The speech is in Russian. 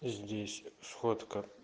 здесь сходка